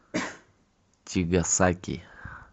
тигасаки